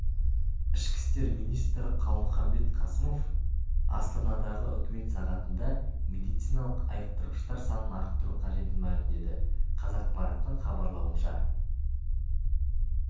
ішкі істер министрі қалмұханбет қасымов астанадағы үкімет сағатында медициналық айықтырғыштар санын арттыру қажетін мәлімдеді қазақпараттың хабарлауынша